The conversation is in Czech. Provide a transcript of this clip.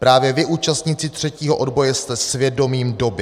Právě vy, účastníci třetího odboje, jste svědomím doby."